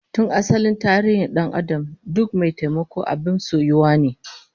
Tun asalin tarihin dan'adam duk mai taimako abin soyuwa ne